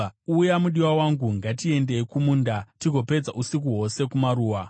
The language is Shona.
Uya, mudiwa wangu, ngatiendei kumunda, tigozopedza usiku hwose kumaruwa.